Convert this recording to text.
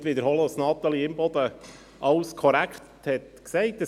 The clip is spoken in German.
Ich will nicht wiederholen, was Natalie Imboden alles korrekt gesagt hat.